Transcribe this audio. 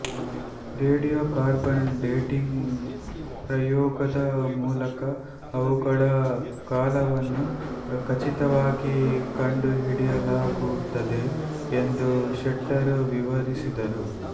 radio carbon dating ಪ್ರಯೋಗದ ಮೂಲಕ ಅವುಗಳ ಕಾಲವನ್ನು ಖಚಿತವಾಗಿ ಕಂಡುಹಿಡಿಯಲಾಗುತ್ತದೆ ಎಂದು ಶೆಟ್ಟರ್ ವಿವರಿಸಿದರು